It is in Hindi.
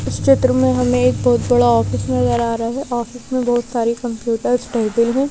इस चित्र में हमें एक बहुत बड़ा ऑफिस नजर आ रहा है ऑफिस में बहुत सारी कंप्यूटर्स टेबल हैं।